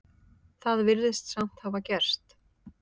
Það virðist samt hafa gerst.